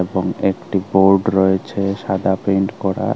এবং একটি বোর্ড রয়েছে সাদা পেন্ট করা।